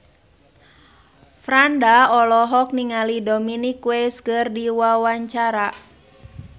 Franda olohok ningali Dominic West keur diwawancara